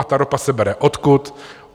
A ta ropa se bere odkud?